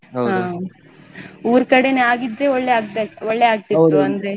ಊರ್ಕಡೆನೇ ಆಗಿದ್ರೆ ಒಳ್ಳೆ ಆಗ್ದಾ ಒಳ್ಳೆ ಆಗ್ತಾ ಇತ್ತು ಅಂದ್ರೆ.